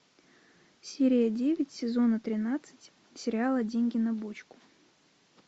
серия девять сезона тринадцать сериала деньги на бочку